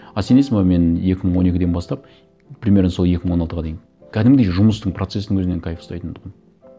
а сенесің бе мен екі мың он екіден бастап примерно сол екі мың он алтыға дейін кәдімгідей жұмыстың процессінің өзінен кайф ұстайтын тұғынмын